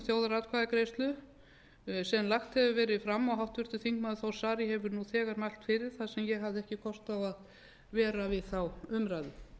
um þjóðaratkvæðagreiðslur sem lagt hefur verið fram og háttvirtur þingmaður þór saari hefur nú þegar mælt fyrir þar sem ég hafði ekki kost á að vera við þá umræðu